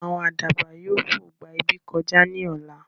Àwọn àdàbà yìí ó fo gbà ibi kọjá ní ọ̀la